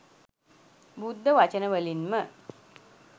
බුද්ධ වචන වලින් ම